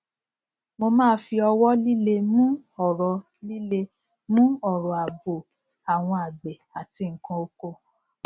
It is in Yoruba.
mo máa fi ọwọ líle mu ọrọ líle mu ọrọ àbò àwọn àgbẹ àti nnkan oko